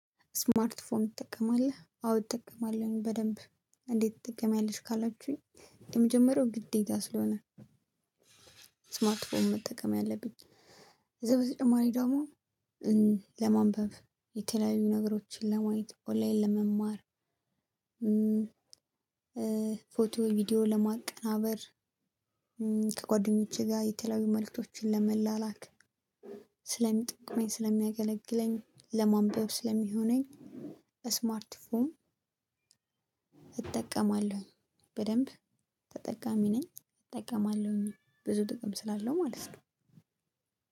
ስማርት ፎን ትጠቀማለህ? አዎ እጠቀማለሁኝ በደንብ። እንዴት ትጠቀሚያለሽ ካላችሁኝ። የመጀመሪያው ግዴታ ስለሆነ። ስማርትፎን መጠቀም ያለብኝ። እዛ በተጨማሪ ደሞ። ለማንበብ የተለያዩ ነገሮችን ለማየት ኦላይን ለመማር። ፎቶ ቪዲዮ ለማቀናበር። ከጓደኞቼ ጋር የተለያዩ መልእክቶችን ለመላላክ። ስለሚጠቅመኝ ስለሚያገለግለኝ ለማንበብ ስለሚሆነኝ። ስማርት ፎም እጠቀማለሁ። በደንብ ተጠቃሚ ነኝ እጠቀማለሁኝ ብዙ ጥቅም ስላለው ማለት ነው።